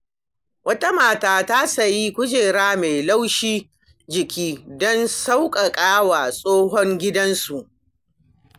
Wata mata ta sayi kujera mai laushin jiki don sauƙaƙa wa tsohon gidansu.